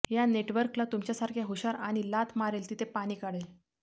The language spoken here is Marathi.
या नेटवर्कला तुमच्यासारख्या हुशार आणि लाथ मारेल तिथे पाणी काढेल